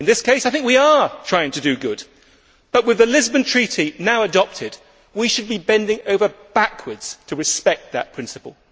In this case, I think we are trying to do good, but with the Lisbon Treaty now adopted, we should be bending over backwards to respect that principle.